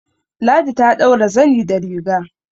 Ladi ta ɗaura zani da riga